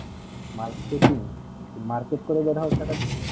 marketing কি market করে হয়ে জরায়ু সারা দিন